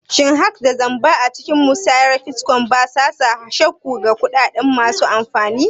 Shin hacks da zamba a cikin musayar bitcoin ba sa sa shakku ga kuɗaɗen masu amfani?